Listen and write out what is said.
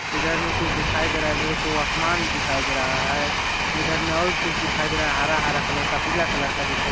इधर में कुछ दिखाई दे रहा है मेरे को आसमान भी दिखाई दे रहा है इधर में और भी कुछ दिखाई दे रहा है हरा -हरा कलर का पीला कलर का दिखाई--